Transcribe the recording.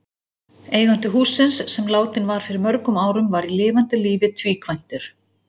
Eigandi hússins, sem látinn var fyrir mörgum árum, var í lifanda lífi tvíkvæntur.